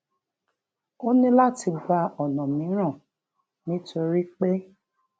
ó ní láti gba ona miran nítorí pé